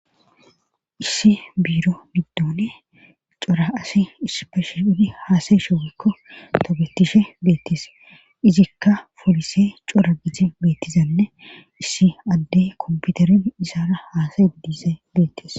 Issi biiro middoone cora asi ispeshe idi haasay sho wekko tobettishe beettis izikka polise cora gite beettizanne issi addey komputerin isara haasay diise beettis